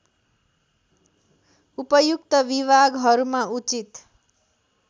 उपयुक्त विभागहरूमा उचित